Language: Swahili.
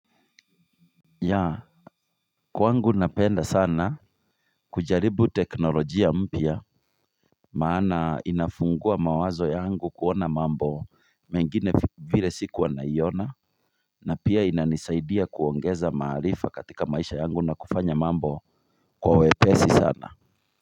Ya kwangu napenda sana kujaribu teknolojia mpya. Maana inafungua mawazo yangu kuona mambo mengine vile sikuwa naiona na pia inanisaidia kuongeza maarifa katika maisha yangu na kufanya mambo kwa uwepesi sana.